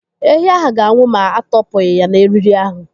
Ehi ahụ ga-anwụ ma atọ pụghị n'eriri ahụ.